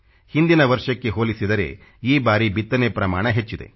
ಹಿಂದಿನ ವರ್ಷಕ್ಕೆ ಹೊಲಿಸಿದರೆ ಈ ಬಾರಿ ಬಿತ್ತನೆ ಪ್ರಮಾಣ ಹೆಚ್ಚಿದೆ